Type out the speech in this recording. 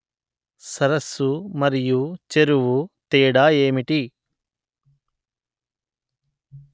సరస్సు మరియు చెరువు తేడా ఏమిటి